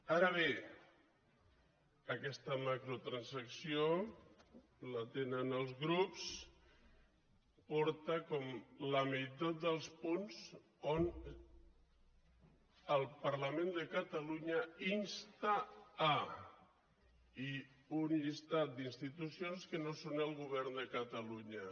ara bé aquesta macrotransacció la tenen els grups porta a com la meitat dels punts que el parlament de catalunya insta i un llistat d’institucions que no són el govern de catalunya